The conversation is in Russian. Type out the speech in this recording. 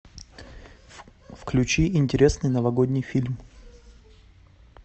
включи интересный новогодний фильм